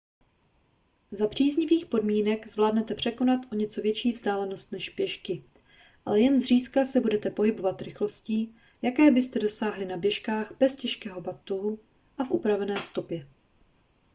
za příznivých podmínek zvládnete překonat o něco větší vzdálenosti než pěšky ale jen zřídka se budete pohybovat rychlostí jaké byste dosáhli na běžkách bez těžkého batohu a v upravené stopě